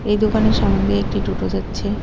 এই দোকানের সামোনে দিয়ে একটি টোটো যাচ্ছে।